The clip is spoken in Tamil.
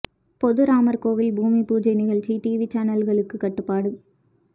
பொது ராமர் கோவில் பூமி பூஜை நிகழ்ச்சி டிவி சேனல்களுக்கு கட்டுப்பாடு